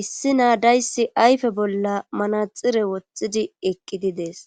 issi naa dayssi ayfe bolla manaxxire wothidi eqqidi dees.